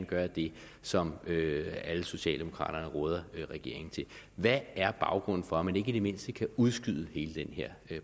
gøre det som alle socialdemokraterne råder regeringen til hvad er baggrunden for at man ikke i det mindste kan udskyde hele den her